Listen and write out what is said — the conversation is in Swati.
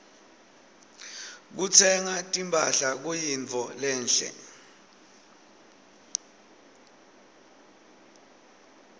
kutsenga timphahla kuyintfo lenhle